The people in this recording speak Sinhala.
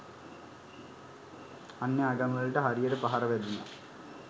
අන්‍ය ආගම්වලට හරියට පහර වැදුනා.